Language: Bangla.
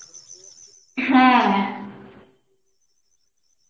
হ্যাঁ